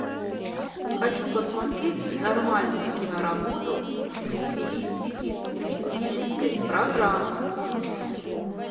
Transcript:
хочу посмотреть нормальную киноработу в стилистике туристической программы